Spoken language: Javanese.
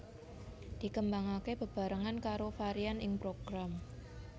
Dikembangake bebarengan karo varian ing Program